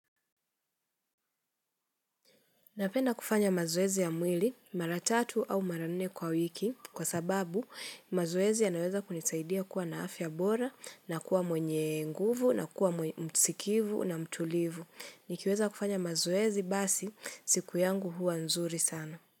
Napenda kufanya mazoezi ya mwili, maratatu au maranne kwa wiki kwa sababu mazoezi ya naweza kunisaidia kuwa na afya bora na kuwa mwenye nguvu na kuwa msikivu na mtulivu. Nikiweza kufanya mazoezi basi siku yangu huwa nzuri sana.